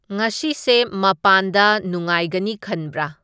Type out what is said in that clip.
ꯉꯥꯥꯁꯤꯁꯦ ꯃꯄꯥꯟꯗ ꯅꯨꯉꯥꯏꯒꯅꯤ ꯈꯟꯕꯔꯥ